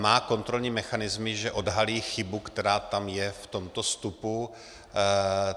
Má kontrolní mechanismy, že odhalí chybu, která tam je v tomto vstupu.